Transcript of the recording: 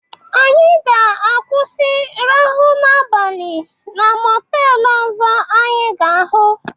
Anyị ga-akwụsị rahụ n'abalị na mọteelu ọzọ anyị ga-ahụ.